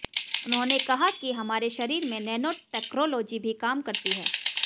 उन्होंने कहा कि हमारे शरीर में नेनो टेक्रोलोजी ही काम करती है